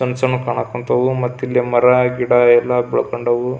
ಸಣ್ಣ ಸಣ್ಣ ಕಾಣಾಕಾಂತವು ಮತ್ತೆ ಇಲ್ಲಿ ಮರ ಗಿಡ ಎಲ್ಲ ಬೆಳಕೊಂಡಾವು.